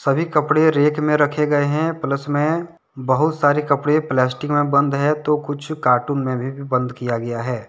अभी कपड़े रैक में रखे गए हैं प्लस में बहुत सारे कपड़े प्लास्टिक में बंद है तो कुछ कार्टून में भी बंद किया गया है।